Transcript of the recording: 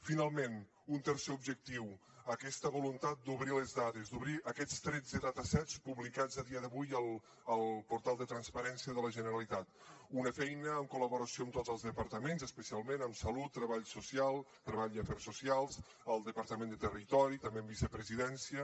finalment un tercer objectiu aquesta voluntat d’obrir les dades d’obrir aquests tretze data sets publicats a dia d’avui al portal de transparència de la generalitat una feina en col·laboració amb tots els departaments especialment amb salut treball i afers socials el departament de territori també amb vicepresidència